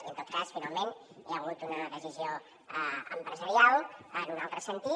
i en tot cas finalment hi ha hagut una decisió empresarial en un altre sentit